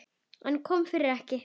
En kom fyrir ekki.